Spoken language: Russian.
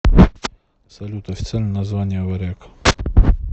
салют официальное название варяг